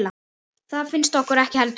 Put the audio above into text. Það finnst okkur ekki heldur.